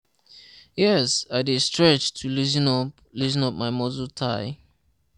yes, i dey stretch to loosen up loosen up my muscle tigh.